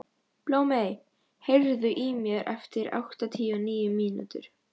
Blómey, heyrðu í mér eftir áttatíu og níu mínútur.